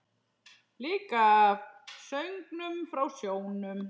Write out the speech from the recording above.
Líka af söngnum frá sjónum.